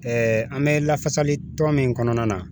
an bɛ lafasali tɔ min kɔnɔna na.